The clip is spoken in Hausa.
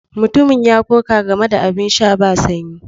Mutumin ya koka game da abin sha ba sanyi.